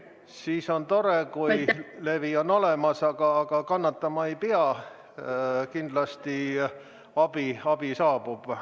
Siis on tore, kui levi on olemas, aga kannatama ei pea, kindlasti abi saabub.